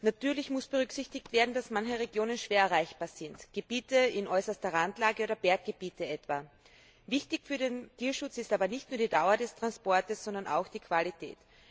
Natürlich muss berücksichtigt werden, dass manche Regionen schwer erreichbar sind, etwa Gebiete in äußerster Randlage oder Berggebiete. Wichtig für den Tierschutz ist aber nicht nur die Dauer des Transports, sondern auch die Qualität.